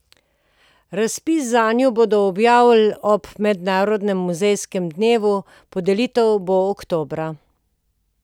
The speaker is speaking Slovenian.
Razpis zanju bodo objavili ob mednarodnem muzejskem dnevu, podelitev bo oktobra.